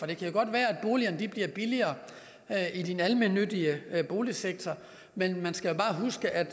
det kan godt være at boligerne bliver billigere i den almennyttige boligsektor men man skal jo bare huske at